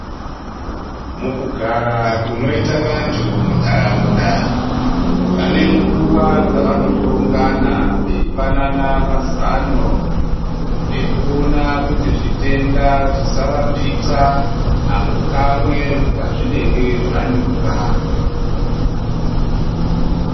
Mukugara kunoite vantu muntaraunda vanenguva dzava nohlongana veyipanana mazano ekuwona kuti zvitenda zvisavapixa apo kamwe pazvinenge zvanyuka.